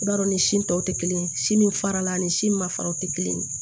I b'a dɔn ni si tɔw tɛ kelen ye si min farala ani si ma fara tɛ kelen ye